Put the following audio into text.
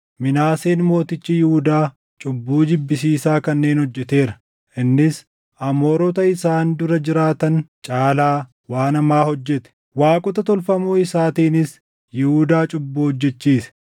“Minaaseen mootichi Yihuudaa cubbuu jibbisiisaa kanneen hojjeteera. Innis Amoorota isaan dura jiraatan caalaa waan hamaa hojjete; waaqota tolfamoo isaatiinis Yihuudaa cubbuu hojjechiise.